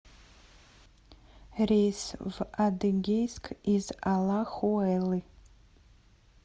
рейс в адыгейск из алахуэлы